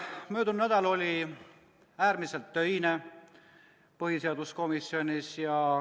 Möödunud nädal oli äärmiselt töine põhiseaduskomisjonis.